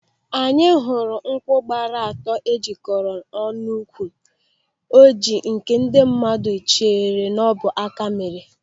Anyị hụrụ nkwụ gbara atọ e jikọrọ ọnụ n'úkwù ọjịị nke ndị mmadụ chere n'ọbụ áká mere.